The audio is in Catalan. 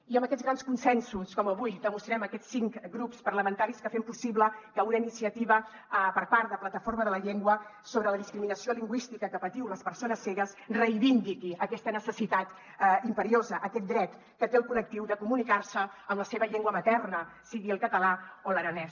i amb aquests grans consensos com avui demostrem aquests cinc grups parlamentaris que fem possible que una iniciativa per part de plataforma per la llengua sobre la discriminació lingüística que patiu les persones cegues reivindiqui aquesta necessitat imperiosa aquest dret que té el col·lectiu de comunicar se en la seva llengua materna sigui el català o l’aranès